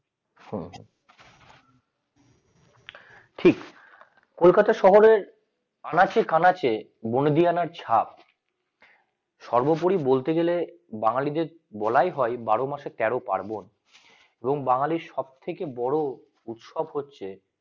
কলকাতা শহরের আনাচে কানাচে বনো দিয়ানের ছাপ সর্বোপরি বলতে গেলে বাঙ্গালীদের বলাই হয় বারো মাসে তেরো পার্বণ এবং বাঙালি সবথেকে বড় উৎসব হচ্ছে